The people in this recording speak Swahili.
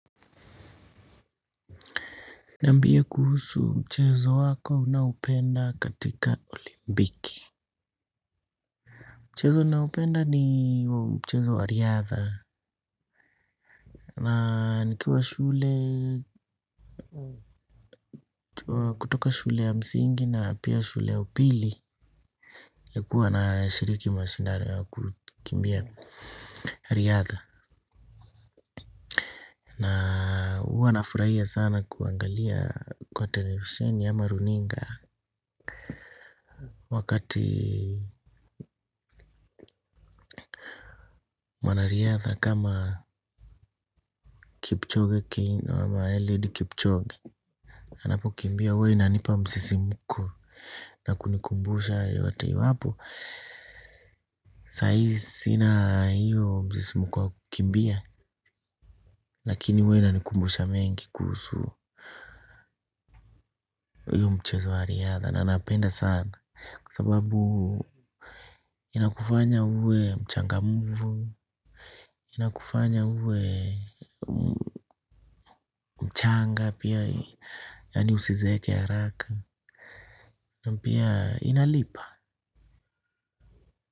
Niambie kuhusu mchezo wako unaopenda katika olimbiki. Mchezo naupenda ni mchezo wa riadha. Na nikiwa shule kutoka shule ya msingi na pia shule ya upili. Nilikuwa nashiriki mashindano ya kukimbia riadha. Huwa nafurahia sana kuangalia kwa televisheni ama runinga. Wakati mwana riadha kama kipchoge keino ama eliud kipchoge anapo kimbia hua inanipa msisimuko na kunikumbusha yote iwapo. Sai sina hiyo msisimuko wa kimbia. Lakini hua inanikumbusha mengi kuhusu hiyo mchezo wa riadha na napenda sana. Kwa sababu inakufanya uwe mchangamvu, inakufanya uwe mchanga pia yani usizeeke haraka. Na pia inalipa.